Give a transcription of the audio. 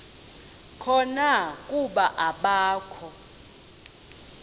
khona kuba akakho